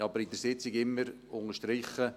Ich habe aber an der Sitzung immer unterstrichen: